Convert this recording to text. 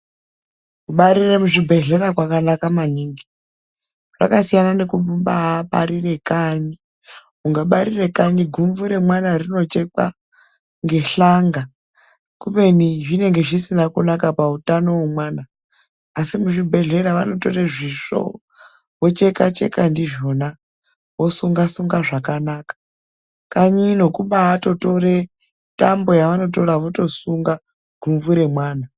Kubarire muzvibhehlera kwakanaka maningi kwasiyana nekumbaabarire kanyi. Ukabarire kanyi gumvu remwana rinochekwa ngehlanga kubeni zvinenge zvisina kunaka pautano wemwana, asi muzvibhehlera vanotora zvisvo vochekacheka ndizvona vosunga sunga zvakanaka. Kanyi ino kumbaatotore tambo yavanotora votosunga gumvu remwana.